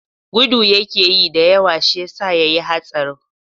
Gudu yakeyi da yawa shiyasa yayi hatsarin.